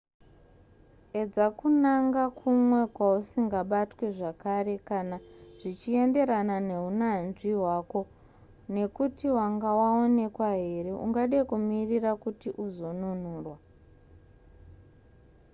edza kunanga kumwe kwausingabatwe zvakare kana zvichienderana nehunyanzvi hwako uye nekuti wanga waonekwa here ungade kumirira kuti uzonunurwa